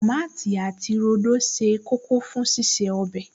Tòmátì àti rodo ṣe kókó fún ṣíṣe ọbẹ̀